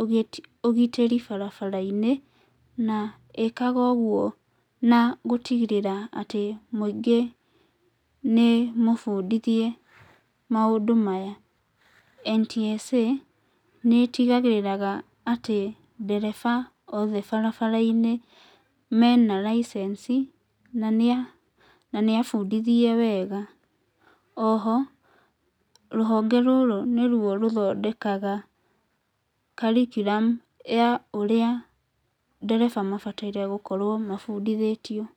ũgĩti, ũgitĩri barabara-inĩ, na ĩkaga ũguo na gũtigĩrĩra atĩ mũingĩ nĩ mũbundithie maũndũ maya. NTSA nĩtigagĩrĩraga atĩ ndereba othe barabara-inĩ mena raicenci na nĩa, na nĩ abundithie wega. Oho rũhonge rũrũ nĩruo rũthondekaga curriculum ya ũrĩa ndereba mabataire gũkorwo mabundithĩtio.